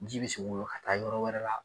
Ji bɛ se ki woyo ka taa yɔrɔ wɛrɛ la